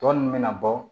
Tɔ ninnu bɛ na bɔ